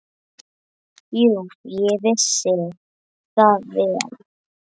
Jú, ég vissi það vel.